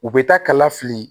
U bɛ taa kala fili